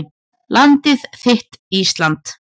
Landið þitt Ísland